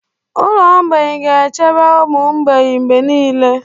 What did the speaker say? Ụlọ mgbei ga-echebe ụmụ mgbei mgbe niile.